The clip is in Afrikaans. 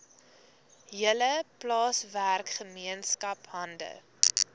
hele plaaswerkergemeenskap hande